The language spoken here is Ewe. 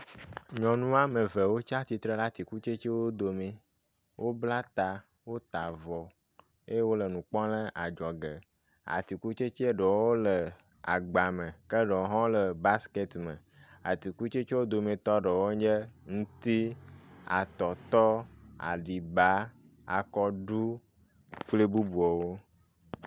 Nyɔnu woame eve wotsatsitre ɖe atikutsetsewo dome, wobla ta, wota avɔ eye wole nu kpɔm le adzɔge. Atikutsetse ɖewoe le agba me ke ɖewo hã le basket me. Ke atikutsetse wo dometɔ ɖewo nye ŋuti, atɔtɔ, aɖiba, akɔɖu kpli bubuawo.